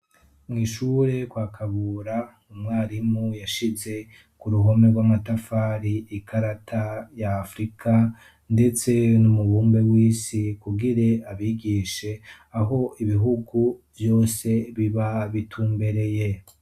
mwishure kwa kabura umwarimu yashize ku ruhome rw'amatafari ikarata ya afrika ndetse n'umubumbe w'isi kugire abigishe aho ibihugu byose biba bitumbereye